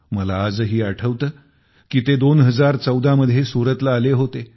मला आजही आठवते की ते २०१४ मध्ये सुरतला आले होते